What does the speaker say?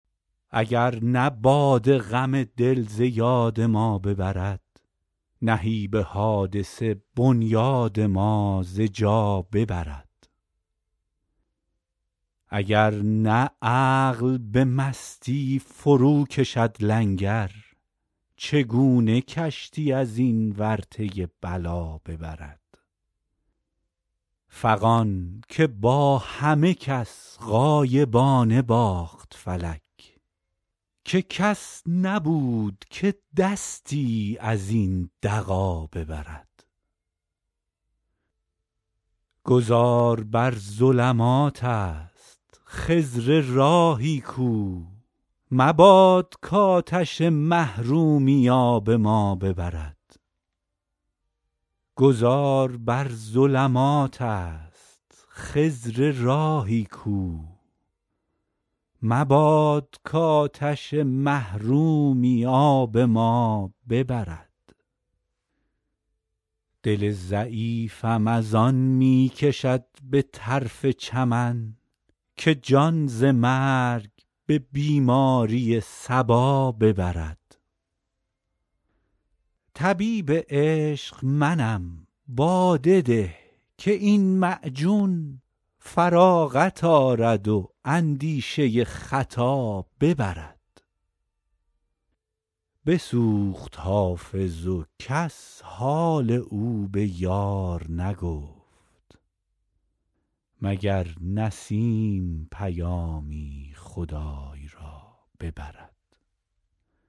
اگر نه باده غم دل ز یاد ما ببرد نهیب حادثه بنیاد ما ز جا ببرد اگر نه عقل به مستی فروکشد لنگر چگونه کشتی از این ورطه بلا ببرد فغان که با همه کس غایبانه باخت فلک که کس نبود که دستی از این دغا ببرد گذار بر ظلمات است خضر راهی کو مباد کآتش محرومی آب ما ببرد دل ضعیفم از آن می کشد به طرف چمن که جان ز مرگ به بیماری صبا ببرد طبیب عشق منم باده ده که این معجون فراغت آرد و اندیشه خطا ببرد بسوخت حافظ و کس حال او به یار نگفت مگر نسیم پیامی خدای را ببرد